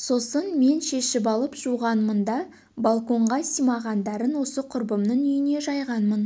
сосын мен шешіп алып жуғанмын да балконға симағандарын осы құрбымның үйіне жайғанмын